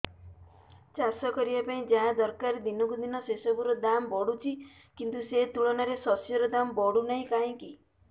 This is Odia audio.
ଚାଷ କରିବା ପାଇଁ ଯାହା ଦରକାର ଦିନକୁ ଦିନ ସେସବୁ ର ଦାମ୍ ବଢୁଛି କିନ୍ତୁ ସେ ତୁଳନାରେ ଶସ୍ୟର ଦାମ୍ ବଢୁନାହିଁ କାହିଁକି